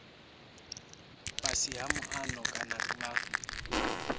fhasi ha muano kana vha